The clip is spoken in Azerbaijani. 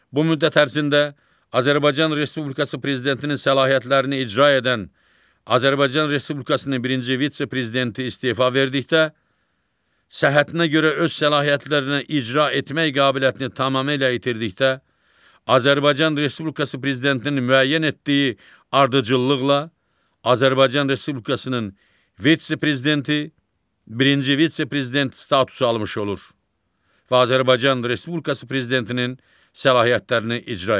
Bu müddət ərzində Azərbaycan Respublikası prezidentinin səlahiyyətlərini icra edən Azərbaycan Respublikasının birinci vitse-prezidenti istefa verdikdə, səhhətinə görə öz səlahiyyətlərini icra etmək qabiliyyətini tamamilə itirdikdə Azərbaycan Respublikası prezidentinin müəyyən etdiyi ardıcıllıqla Azərbaycan Respublikasının vitse-prezidenti, birinci vitse-prezident statusu almış olur və Azərbaycan Respublikası prezidentinin səlahiyyətlərini icra edir.